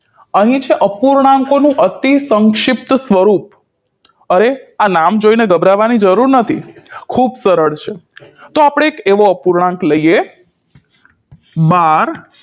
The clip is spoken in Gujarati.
અહીં છે અપૂર્ણાંકોનું અતિસંક્ષિપ્ત સ્વરૂપ અરે આ નામ જોઈને ગભરવાની જરૂર નથી ખૂબ સરળ છે તો આપણે એક એવો અપૂર્ણાંક લઈએ બાર